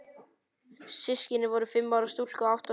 Systkinin voru tvö, fimm ára stúlka og átta ára drengur.